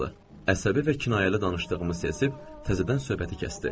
Əsəbi və kinayəli danışdığımı hiss edib, təzədən söhbəti kəsdi.